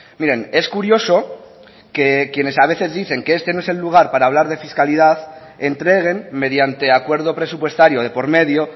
miren es curioso que quienes a veces dicen que este no es el lugar para hablar de fiscalidad entreguen mediante acuerdo presupuestario de por medio